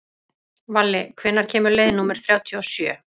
Valli, hvenær kemur leið númer þrjátíu og sjö?